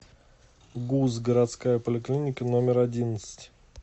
гуз городская поликлиника номер одиннадцать